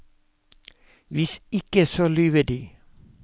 Hvis ikke så lyver de!